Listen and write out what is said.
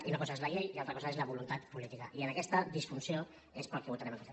i una cosa és la llei i una altra cosa és la voluntat política i per aquesta disfunció és per què votarem en contra